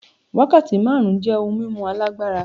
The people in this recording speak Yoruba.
Wákàtí márùn-ún jẹ́ ohun mímu alágbára.